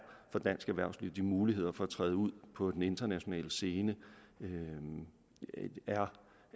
for dansk erhvervsliv de muligheder for at træde ud på den internationale scene er